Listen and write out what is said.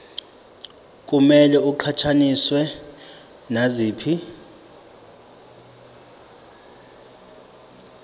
kumele iqhathaniswe naziphi